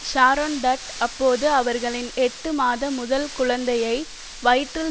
Sharon Tate அப்போது அவர்களின் எட்டு மாத முதல் குழந்தையை வயிற்றில்